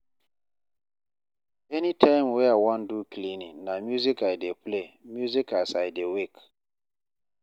anytime wey I wan do cleaning na music I dey play music as I dey work